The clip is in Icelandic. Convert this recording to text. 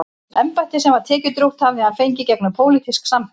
Embættið, sem var tekjudrjúgt, hafði hann fengið gegnum pólitísk sambönd.